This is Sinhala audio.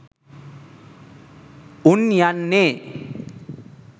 උන් යන්නේ